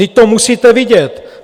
Vždyť to musíte vidět!